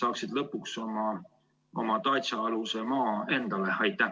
saaksid lõpuks oma datša aluse maa endale?